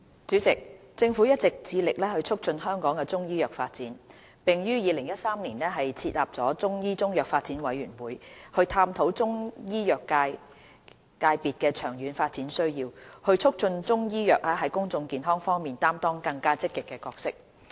主席，政府一直致力促進香港的中醫藥發展，並於2013年設立中醫中藥發展委員會，以探討中醫藥界別的長遠發展需要，促進中醫藥在公眾健康方面擔當更積極的角色。